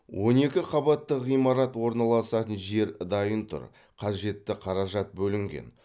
он екі қабатты ғимарат орналасатын жер дайын тұр қажетті қаражат бөлінген